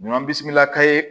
Ɲɔ bisimila ka ye